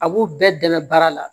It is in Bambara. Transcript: A b'u bɛɛ dɛmɛ baara la